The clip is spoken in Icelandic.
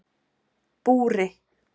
Búri